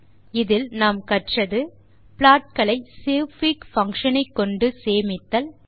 tutorial லில் நாம் கற்றது ப்ளாட் களைsavefig பங்ஷன் ஐக்கொண்டு சேமித்தல்